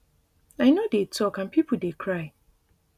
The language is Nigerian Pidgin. i no dey tok and pipo dey cry